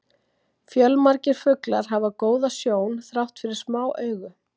Fjölmargir fuglar hafa góða sjón þrátt fyrir smá augu.